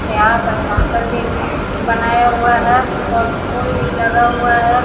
यहाँ पर काउंटर भी बनाया हुआ है और फूल भी लगा हुआ है।